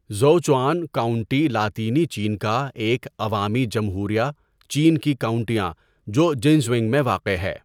Zuoquan county لاطینی چین کا ایک عوامی جمہوریہ چین کی کاؤنٹیاں جو جنژونگ میں واقع ہے.